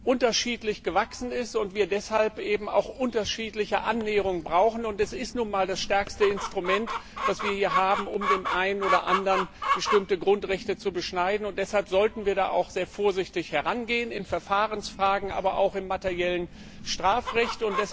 unterschiedlich gewachsen ist und wir deshalb eben auch unterschiedliche Annäherungen brauchen, und es ist nun einmal das stärkste Argument, was wir hier haben, um dem einen oder anderen bestimmte Grundrechte zu beschneiden, und deshalb sollten wir da auch sehr vorsichtig herangehen in Verfahrensfragen, aber auch im materiellen Strafrecht.